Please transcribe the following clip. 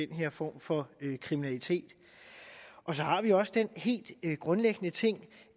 her form for kriminalitet så har vi også den helt grundlæggende ting